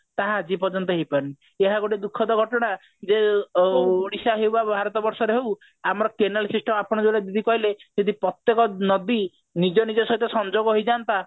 ତାହା ଆଜି ପର୍ଯ୍ୟନ୍ତ ହେଇ ପାରିନି ଏହା ଗୋଟେ ଦୁଖଦ ଘଟଣା ଯୋଉ ଏ ଓଡିଶା ହଉ ବା ଭାରତ ବର୍ଷରେ ହଉ ଆମର canal system ଆପଣ ଯୋଉଟା ଦିଦି କହିଲେ ଯଦି ପ୍ରତ୍ୟକ ନଦୀ ନିଜ ନିଜ ସହ ସଂଯୋଗ ହେଇଯାନ୍ତା